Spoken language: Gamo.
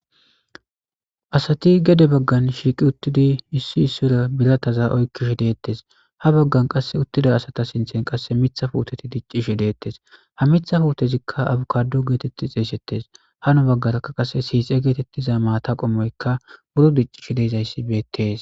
asati gede baggan shiiqi uttidi issi issora bilataza oykkishi deettes ha baggan qass uttida asata sinthen qasse mitha puuteti diccishi deettes ha mitha fuutezikka abukadu geetetti xeeysettes hano baggarakka qase siixe geetettiza maata qommoyka buro diccishi deezayssi beettees